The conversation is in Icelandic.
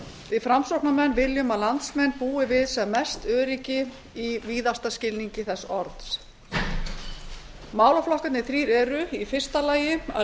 við framsóknarmenn viljum að landsmenn búi við sem mest öryggi í víðasta skilningi þess orðs málaflokkarnir þrír eru í fyrsta lagi að